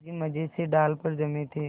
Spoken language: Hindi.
दादाजी मज़े से डाल पर जमे थे